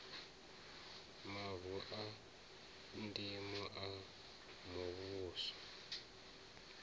mavu a ndimo a muvhuso